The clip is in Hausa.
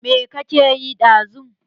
Me ka ke yi da zuma?